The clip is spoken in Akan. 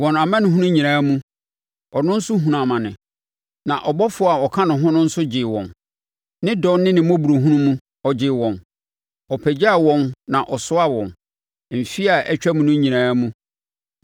Wɔn amanehunu nyinaa mu, ɔno nso hunuu amane, na ɔbɔfoɔ a ɔka no ho no nso gyee wɔn. Ne dɔ ne ne mmɔborɔhunu mu, ɔgyee wɔn; ɔpagyaa wɔn na ɔsoaa wɔn mfeɛ a atwam no nyinaa mu.